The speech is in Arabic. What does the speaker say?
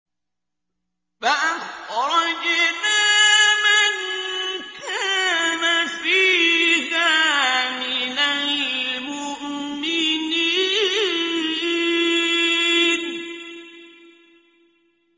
فَأَخْرَجْنَا مَن كَانَ فِيهَا مِنَ الْمُؤْمِنِينَ